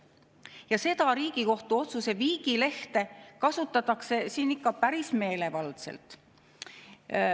Ja seda Riigikohtu otsuse viigilehte kasutatakse siin ikka päris meelevaldselt.